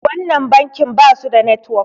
wannan bankin ba su da network